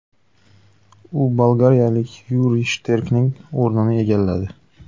U bolgariyalik Yuriy Shterkning o‘rnini egalladi.